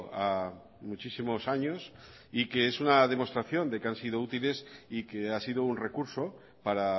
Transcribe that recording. a muchísimos años y que es una demostración de que han sido útiles y que ha sido un recurso para